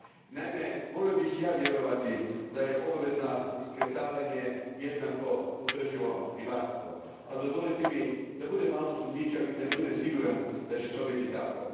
Naime, volio bih i ja vjerovati da je obavezno iskrcavanje jednako održivo ribarstvo. Ali, dozvolite mi da budem malo sumnjičav i da ne budem siguran da će to biti tako.